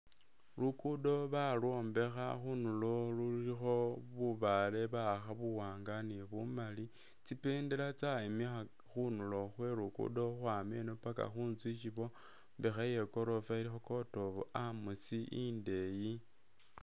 Luguudo balwombekha, khunulo khulikho bubaale ba'akha buwanga ni bumali. Tsi bendela tsyayimikhaka khunulo khwe Luguudo khukhwama eno paka khu nzu isyi bamekha iye gorofa ilikho court of arms indeeyi.